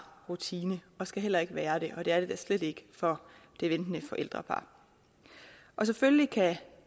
rutine og skal heller ikke være det og det er det da slet ikke for det ventede forældrepar selvfølgelig kan